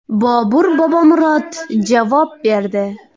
Bobur Bobomurod javob berdi .